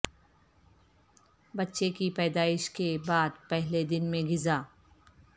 بچے کی پیدائش کے بعد پہلے دن میں غذا